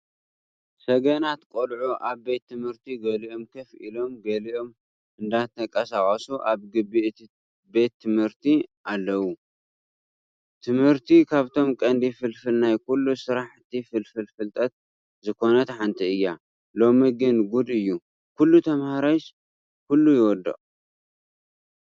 ሰገናት ቆልዑ ኣብ ቤት ትምህርት ገሊኦም ኮፍ ኢሎም ገሊም እንዳተቃሳቀሱ ኣብ ግቢ እቲ ትምህርቲ ቤት ኣለው። ትምህርቲ ካብቶም ቀንዲ ፍልፍል ናይ ኩሉ ስራሕቲ ፍልፍል ፍልጠት ዝኮነት ሓንቲ እያ። ሎሚ ግን ጉድ እዩ! ኩሉ ተማሃራይ ኩሉስ ይወድቅ።